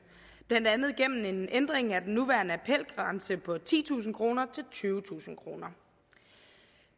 blandt andet gennem en ændring af den nuværende appelgrænse på titusind kroner til tyvetusind kroner